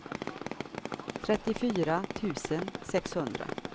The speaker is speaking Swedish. trettiofyra tusen sexhundra